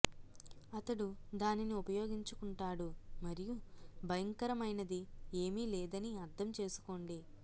అతడు దానిని ఉపయోగించుకుంటాడు మరియు భయంకరమైనది ఏమీ లేదని అర్థం చేసుకోండి